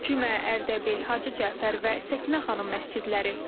Cümə, Ərdəbil, Hacı Cəfər və Səkinə xanım məscidləri.